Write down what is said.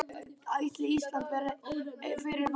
Ætli Ísland verði fyrir valinu hjá einhverjum?